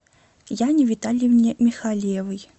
яне витальевне михалевой